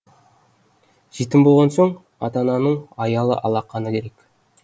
жетім болған соң ата ананың аялы алақаны керек